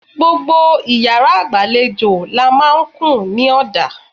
Gbogbo iyàrá ìgbàlejò làá n máa kùn ní òdà